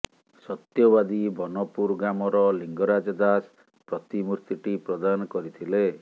ସତ୍ୟବାଦୀ ବନପୁର ଗ୍ରାମର ଲିଙ୍ଗରାଜ ଦାଶ ପ୍ରତିମୂର୍ତ୍ତିଟି ପ୍ରଦାନ କରିଥିଲେ